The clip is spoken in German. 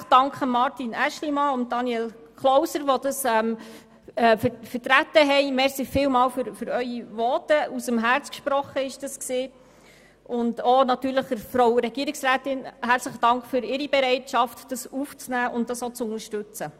Ich danke ganz herzlich den Grossräten Aeschlimann und Klauser, die unser Anliegen vertreten haben und natürlich auch Frau Regierungsrätin Egger für ihre Bereitschaft, dieses aufzunehmen und zu unterstützen.